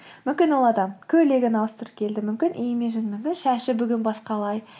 мүмкін ол адам көйлегін ауыстырып келді мүмкін имиджін мүмкін шашы бүгін басқалай